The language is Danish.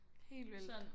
Helt vildt